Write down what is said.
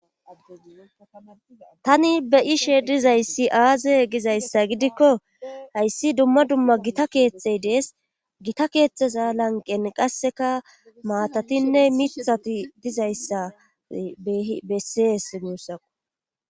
tani be ishe dizayssi aaze gizayssa gidikko hayssi dumma dumma gita keetxey dees gita keexxeza lanqen qasseka maatatinne mithati dizayssabesses muusaqu